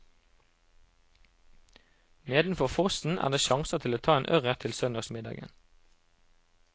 Nedenfor fossen er det sjanser til å ta en ørret til søndagsmiddagen.